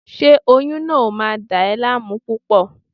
Ṣé oyún náà ò máa dà ẹ́ láàmú púpọ̀?